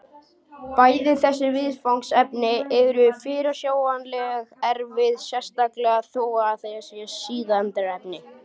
Bæði þessi viðfangsefni eru fyrirsjáanlega erfið, sérstaklega þó það síðarnefnda.